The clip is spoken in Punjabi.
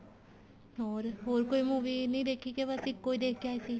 ਹੋਰ ਹੋਰ ਕੋਈ movie ਨੀ ਦੇਖੀ ਕੇ ਬੱਸ ਇੱਕੋ ਈ ਦੇਖ ਕੇ ਆਏ ਸੀ